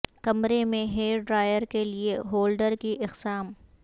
کمرے میں hair dryer کے لئے ہولڈر کی اقسام